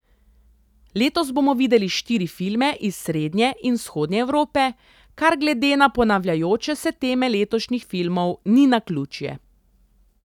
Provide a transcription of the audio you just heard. Letos bomo videli štiri filme iz srednje in vzhodne Evrope, kar glede na ponavljajoče se teme letošnjih filmov ni naključje.